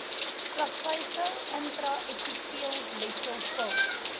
plaveisel intraepiteelletsel pil